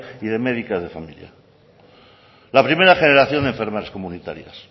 y de médicas de familia la primera generación de enfermeras comunitarias